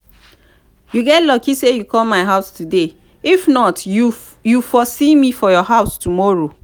you get luck say you come my house today if not you for see me for your house tomorrow